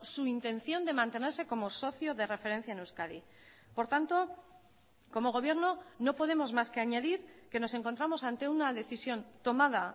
su intención de mantenerse como socio de referencia en euskadi por tanto como gobierno no podemos más que añadir que nos encontramos ante una decisión tomada